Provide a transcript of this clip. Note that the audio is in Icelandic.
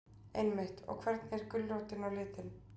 Einmitt, og hvernig er gulrótin á litin?